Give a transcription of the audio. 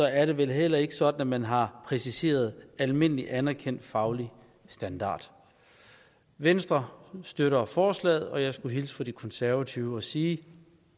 er det vel heller ikke sådan at man har præciseret almindelig anerkendt faglig standard venstre støtter forslaget og jeg skulle hilse fra de konservative og sige